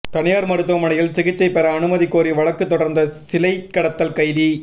தனியார் மருத்துவமனையில் சிகிச்சை பெற அனுமதி கோரி வழக்கு தொடர்ந்த சிலை கடத்தல் கைதி